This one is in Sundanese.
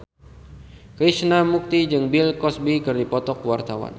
Krishna Mukti jeung Bill Cosby keur dipoto ku wartawan